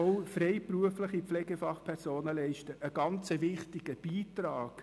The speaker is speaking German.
Auch freiberufliche Pflegefachpersonen leisten einen sehr wichtigen Beitrag.